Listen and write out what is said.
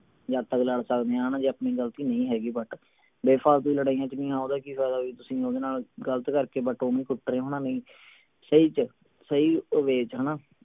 ਯਾਰ ਲੜ ਸਕਦੇ ਹਾਂ ਨਾ ਜੇ ਆਪਣੀ ਗਲਤੀ ਨਹੀਂ ਹੈਗੀ but ਬੇਫ਼ਾਲਤੁ ਦੀਆਂ ਲੜਾਈਆਂ ਚ ਨਹੀਂ ਓਹਦਾ ਕਿ ਫਾਇਦਾ ਵੀ ਤੁਸੀਂ ਓਹਦੇ ਨਾਲ ਗਲਤ ਕਰਕੇ but ਓਹਨੂੰ ਕੁੱਟ ਰਹੇ ਹੋ ਹਣਾ ਨਹੀਂ ਸਹੀ ਚ ਸਹੀ way ਚ ਹਣਾ